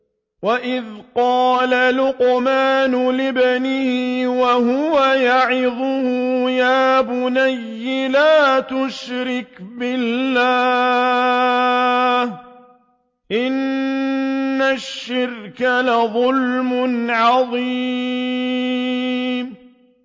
وَإِذْ قَالَ لُقْمَانُ لِابْنِهِ وَهُوَ يَعِظُهُ يَا بُنَيَّ لَا تُشْرِكْ بِاللَّهِ ۖ إِنَّ الشِّرْكَ لَظُلْمٌ عَظِيمٌ